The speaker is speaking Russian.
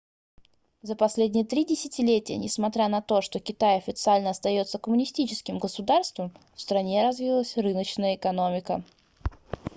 за последние три десятилетия несмотря на то что китай официально остается коммунистическим государством в стране развилась рыночная экономика